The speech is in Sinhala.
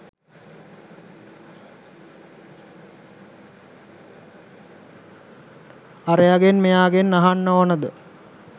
අරයගෙන් මෙයාගෙන් අහන්න ඕනෙද?